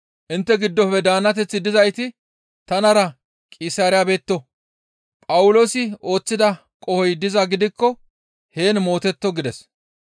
Intte giddofe daannateththi dizayti tanara Qisaariya betto; Phawuloosi ooththida qohoy dizaa gidikko heen mootetto» gides.